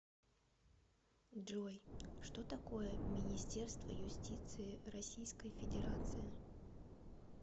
джой что такое министерство юстиции российской федерации